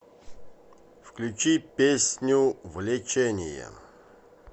включи песню влечение